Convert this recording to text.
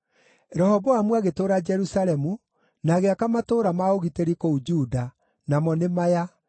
Rehoboamu agĩtũũra Jerusalemu na agĩaka matũũra ma ũgitĩri kũu Juda, namo nĩ maya: